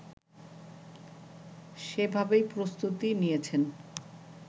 সেভাবেই প্রস্তুতি নিয়েছেন